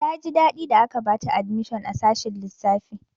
Ta ji daɗi da aka bata admishon a sashin lissafi.